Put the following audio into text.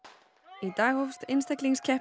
í dag hófst einstaklingskeppni